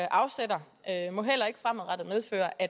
afsætter må heller ikke fremadrettet medføre at